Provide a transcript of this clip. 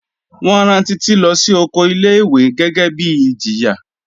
Wọ́n rán Títí lọ sí oko ilé ìwé gẹ́gẹ́ bíi ìjìyà.